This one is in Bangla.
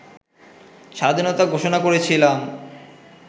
স্বাধীনতা ঘোষণা করেছিলাম